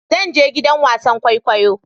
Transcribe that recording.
Zan je gidan wasan kwaikwayo